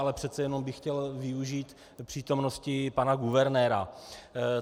Ale přece jenom bych chtěl využít přítomnosti pana guvernéra.